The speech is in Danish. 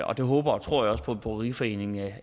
og det håber og tror jeg også på at bryggeriforeningen